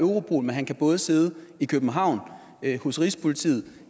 europol men han kan både sidde i københavn hos rigspolitiet